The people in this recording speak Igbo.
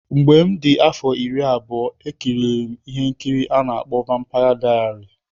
Mgbe m dị afọ iri abụọ E kiri M ihe nkiri a na-akpọ Vampaya Dayari.